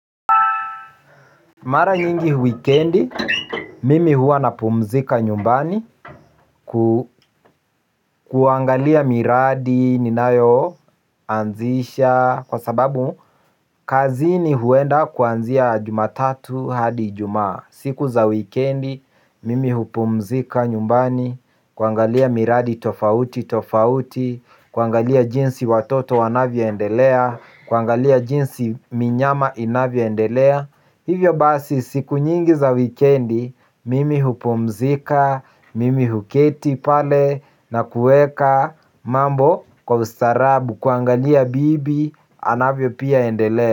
Mara nyingi wikendi, mimi huwa napumzika nyumbani. Kuangalia miradi, ninayo anzisha kwa sababu, kazini huenda kuanzia jumatatu hadi ijumaa. Siku za wikendi, mimi hupumzika nyumbani. Kuangalia miradi tofauti tofauti. Kuangalia jinsi watoto wanavo endelea. Kuangalia jinsi minyama inavyo endelea. Hivyo basi siku nyingi za wikendi mimi hupumzika, mimi huketi pale na kueka mambo kwa ustaarabu kuangalia bibi anavyo pia endelea.